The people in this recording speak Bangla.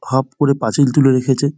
হব করে পাচিলে তুলে রেখেছে।